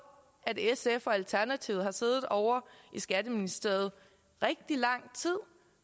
sf og alternativet har siddet ovre i skatteministeriet rigtig lang tid